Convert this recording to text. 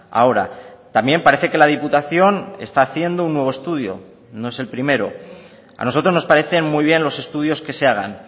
ahora también parece que la diputación está haciendo un nuevo estudio no es el primero a nosotros nos parecen muy bien los estudios que se hagan